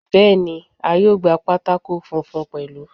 Bẹ́ẹ̀ni, a yóò gba pátákó funfun pẹ̀lú.